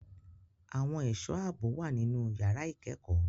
Àwọn ẹ̀ṣọ́ ààbò wà nínú yàrá ìkẹ́kọ̀ọ́.